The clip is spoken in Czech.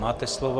Máte slovo.